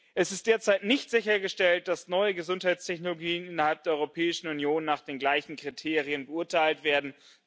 Es ist derzeit nicht sichergestellt, dass neue Gesundheitstechnologien innerhalb der Europäischen Union nach den gleichen Kriterien beurteilt werden.